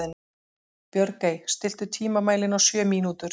Björgey, stilltu tímamælinn á sjö mínútur.